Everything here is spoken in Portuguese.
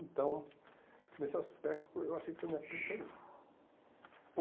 Então, nesse aspecto, eu achei que foi minha perca aí.